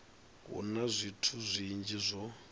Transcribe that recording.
hu na zwithu zwinzhi zwo